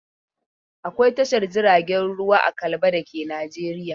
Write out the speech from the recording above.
Akwai Tashar jiragen ruwa a Kalaba da ke Najeriya.